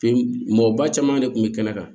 Fin mɔgɔ ba caman de kun bɛ kɛnɛ kan